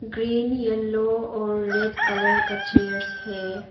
Green yellow और red colour का chairs है।